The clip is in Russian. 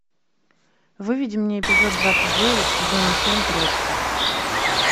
выведи мне эпизод двадцать девять сезона семь троцкий